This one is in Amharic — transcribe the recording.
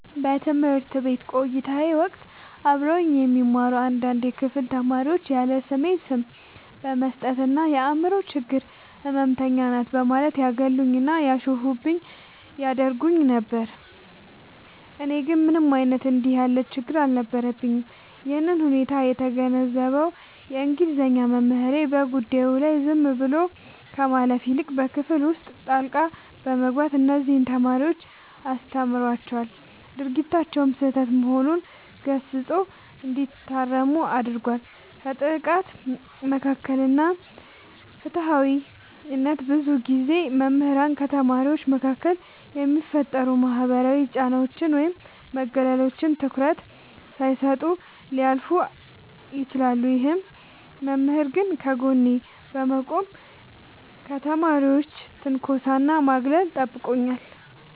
በትምህርት ቤት ቆይታዬ ወቅት አብረውኝ የሚማሩ አንዳንድ የክፍል ተማሪዎች ያለስሜ ስም በመስጠት እና "የአምሮ ችግር ህመምተኛ ናት" በማለት ያገሉኝና ያሾፉብኝ ያደርጉኝ ነበር። እኔ ግን ምንም አይነት እንዲህ ያለ ችግር አልነበረብኝም። ይህንን ሁኔታ የተገነዘበው የእንግሊዘኛ መምህሬ፣ በጉዳዩ ላይ ዝም ብሎ ከማለፍ ይልቅ በክፍል ውስጥ ጣልቃ በመግባት እነዚያን ተማሪዎች አስተምሯቸዋል፤ ድርጊታቸውም ስህተት መሆኑን ገስጾ እንዲታረሙ አድርጓል። ከጥቃት መከላከል እና ፍትሃዊነት፦ ብዙ ጊዜ መምህራን ከተማሪዎች መካከል የሚፈጠሩ ማህበራዊ ጫናዎችን ወይም መገለሎችን ትኩረት ሳይሰጡ ሊያልፉ ይችላሉ። ይህ መምህር ግን ከጎኔ በመቆም ከተማሪዎች ትንኮሳና ማግለል ጠብቆኛል።